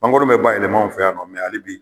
Mangɔrɔ bɛ bayɛlɛm'anw fɛ yan nɔ hali bi